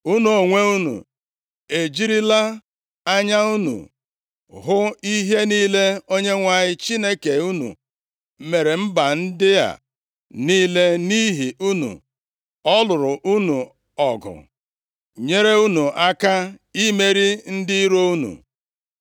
Unu onwe unu ejirila anya unu hụ ihe niile Onyenwe anyị Chineke unu mere mba ndị a niile, nʼihi unu. Ọ lụụrụ unu ọgụ, nyere unu aka imeri ndị iro unu.